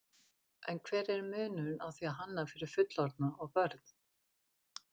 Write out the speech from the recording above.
En hver er munurinn á því að hanna fyrir fullorðna og börn?